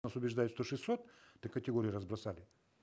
нас убеждают что шестьсот до категории разбросали